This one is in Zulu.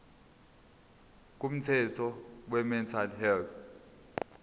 komthetho wemental health